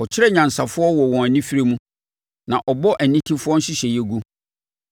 Ɔkyere anyansafoɔ wɔ wɔn anifire mu, na ɔbɔ anitefoɔ nhyehyɛeɛ gu.